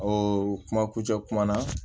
O kuma kucɛ kuma na